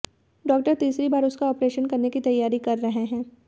doctor तीसरी बार उसका ऑपरेशन करने की तैयारी कर रहे हैं